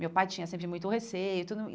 Meu pai tinha sempre muito receio e tudo.